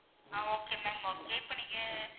ஆஹ் okay ma'am okay இப்போ நீங்க,